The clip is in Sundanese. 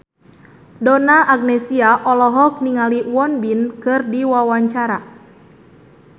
Donna Agnesia olohok ningali Won Bin keur diwawancara